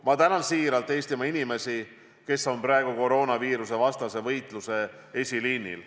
Ma tänan siiralt Eestimaa inimesi, kes on praegu koroonaviirusevastase võitluse eesliinil.